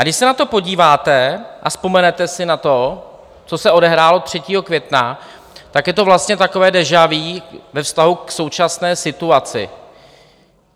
A když se na to podíváte a vzpomenete si na to, co se odehrálo 3. května, tak je to vlastně takové déjà vu ve vztahu k současné situaci.